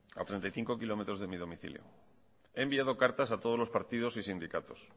a treinta y cinco kilómetros de mi domicilio he enviado cartas a todos los partidos y sindicatos